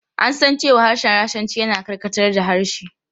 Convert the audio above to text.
An san cewa harshen Rashanci yana karkatar da harshe.